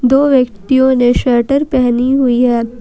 दो व्यक्तियों ने श्वेटर पहनी हुई है ।